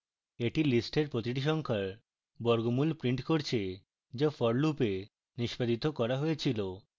এটি list প্রতিটি সংখ্যার বর্গমূল printed করেছে যা for loop এ নিষ্পাদিত করা হয়েছিল